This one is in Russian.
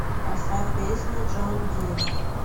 поставь песню джон ди